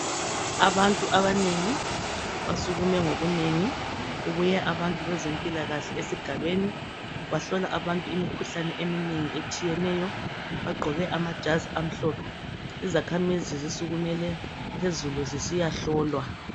Abantu abanengi basukume ngobunengi kubuye abantu bezempilakahle esigabeni bahlola abantu imikhuhlane eminengi etshiyeneyo, bagqoke amajazi amhlophe. Izakhamizi zisikumele phezulu zisiya hlolwa.